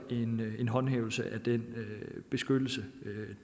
en håndhævelse af den beskyttelse